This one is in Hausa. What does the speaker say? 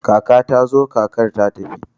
kakar ta zo da kakar tafi